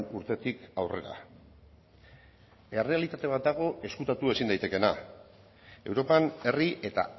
urtetik aurrera errealitate bat dago ezkutatu ezin daitekeena europan herri eta